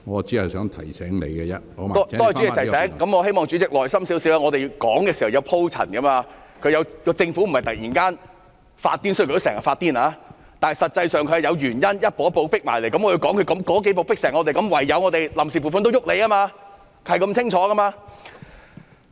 多謝主席提醒，我希望主席耐心一點，我們發言是要有鋪陳的，政府並非突然發瘋——雖然它經常發瘋——但實際上是步步進迫，我要解釋它如何迫得我們唯有對臨時撥款動手，這是很清楚的。